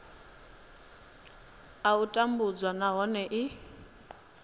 a u tambudzwa nahone i